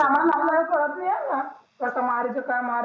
आपल्याला काही काळात नि आ कास माराच काय माराच